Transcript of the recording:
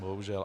Bohužel.